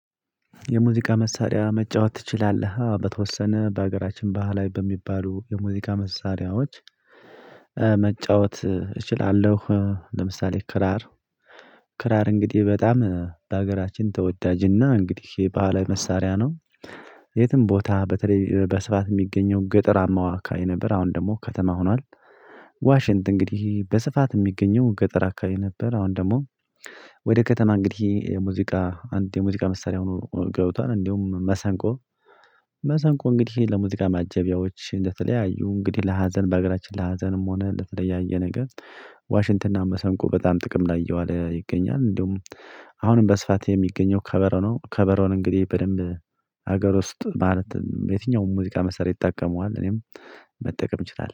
የሙዚቃ መሳሪያ መጫወት ትችላለህ? በተወሰነ በሀገራችን ባህላዊ በሚባሉ የሙዚቃ መሳሪያዎች መጫወት እችላለሁ ለምሳሌ ክራር ክራር እንግዲህ በጣም በሀገራችን ተወዳጅና እንግዲህ ባህላዊ መሳሪያ ነው የትም ቦታ በተለይ በስፋት ሚገኘው ገጠራማ አካባቢ ነበር አሁን ደግሞ ከተማ ሆኗል። ዋሽንት እንግዲህ በስፋት የሚገኘው ገጠር አካባቢ ነበር አሁን ደግሞ። ወደ ከተማ እንግዲህ የሙዚቃ አንድ የሙዚቃ መሳሪያ ሆኖ ገብቷል እንዲሁም መሰንቆ። መሰንቆ እንግዲህ ለሙዚቃ ማጀቢያዎች ለተለያዩ እንግዲህ ለሀዘን በሀገራችን ለሀዘንም ሆነ ለተለያየ ነገር። ዋሽንትና መሰንቆ በጣም ጥቅም ላይ እየዋለ ይገኛል እንደውም አሁንም በስፋት የሚገኘው ከበሮ ነው። ከበሮን እንግዲህ በደንብ ሀገር ውስጥ ማለትም የትኛውም ሙዚቃ መሳሪያ ይጠቀመዋል እኔም መጠቀም እችላለሁ